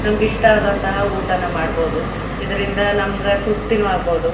ನಮಗೆ ಇಷ್ಟಆದಂತಹ ಊಟನೂ ಮಾಡಬಹುದು ಇದರಿಂದ ನಮಗೆ ತೃಪ್ತಿನೂ ಆಗ್ಬಬಹುದು.